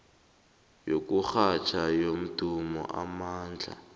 yokurhatjha yomdumo onamandla